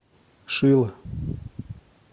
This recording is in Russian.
шило